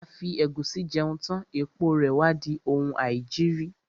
A fi ẹ̀gúsí jẹun tán, èpo rè wá di oun aìjiri.